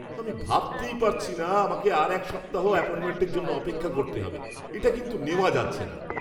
আমি ভাবতেই পারছি না আমাকে আর এক সপ্তাহ অ্যাপয়েন্টমেন্টের জন্য অপেক্ষা করতে হবে। এটা কিন্তু নেওয়া যাচ্ছে না!